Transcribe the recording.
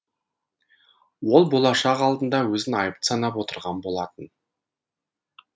ол болашақ алдында өзін айыпты санап отырған болатын